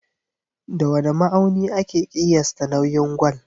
Da wane ma'auni ake ƙiyasta nauyin gwal?